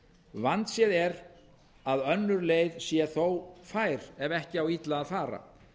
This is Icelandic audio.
vandséð er að önnur leið sé þó fær ef ekki á illa að fara